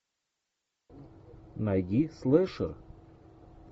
найди слэшер